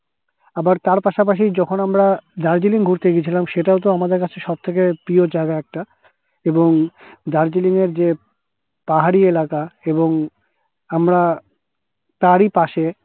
আবার তার পাশাপাশি যখন আমরা দার্জিলিং ঘুরতে গিয়েছিলাম সেটাও আমাদের কাছে সবথেকে প্রিয় জায়গা একটা এবং দার্জিলিং এর পাহাড়ি এলাকা এবং আমরা তারই পশে